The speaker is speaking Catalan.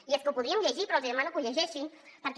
i és que ho podríem llegir però els hi demano que ho llegeixin perquè